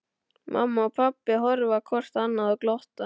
Mamma og pabbi horfa hvort á annað og glotta.